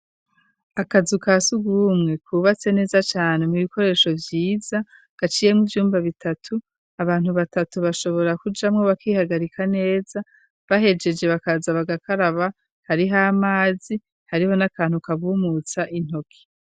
Akazu ka sugumwe, kubatse neza cane mu ibikoresho vyiza, gaciyemwo ivyumba bitatu, abantu batatu bashobora kujamwo bakihagarika neza, bahejeje bakaza bagakaraba, hariho n'amazi, hariho n'akantu kabumutsa intoki.